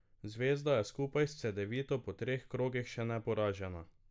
Zvezda je skupaj s Cedevito po treh krogih še neporažena.